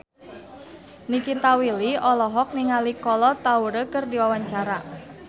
Nikita Willy olohok ningali Kolo Taure keur diwawancara